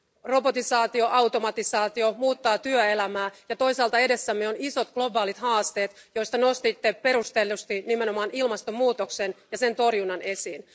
Robotisaatio, automatisaatio muuttaa työelämää ja toisaalta edessämme ovat isot globaalit haasteet, joista nostitte perustellusti nimenomaan ilmastonmuutoksen ja sen torjunnan esiin.